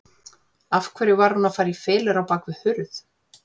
Af hverju hún var að fara í felur á bak við hurð.